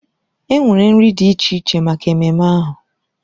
Enwere nri dị iche iche maka ememme ahụ.